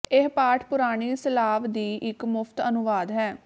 ਇਹ ਪਾਠ ਪੁਰਾਣੀ ਸਲਾਵ ਦੀ ਇੱਕ ਮੁਫਤ ਅਨੁਵਾਦ ਹੈ